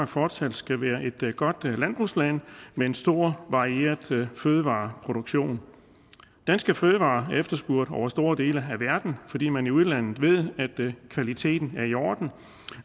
fortsat skal være et godt landbrugsland med en stor varieret fødevareproduktion danske fødevarer er efterspurgt over store dele af verden fordi man i udlandet ved at kvaliteten er i orden